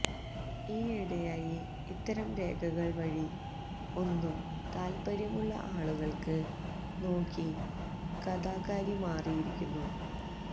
ഈയിടെയായി ഇത്തരം രേഖകൾ വഴി ഒന്നും താൽപ്പര്യമുള്ള ആളുകൾക്ക് നോക്കി കഥാകാരി മാറിയിരിക്കുന്നു